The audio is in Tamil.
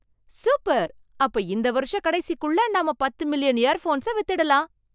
சூப்பர்! அப்ப இந்த வருஷக் கடைசிக்குள்ள நாம பத்து மில்லியன் இயர்ஃபோன்ஸ வித்துடலாம்.